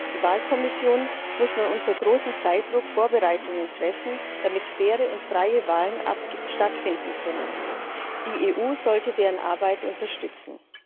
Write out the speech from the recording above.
Die Wahlkommission muss nun unter großem Zeitdruck Vorbereitungen treffen, damit faire und freie Wahlen stattfinden können. Die EU sollte deren Arbeit unterstützen.